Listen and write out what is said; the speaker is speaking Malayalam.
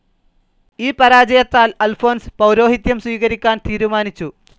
ഈ പരാജത്താൽ അൽഫോൻസ് പൗരോഹിത്യം സ്വീകരിക്കാൻ തീരുമാനിച്ചു.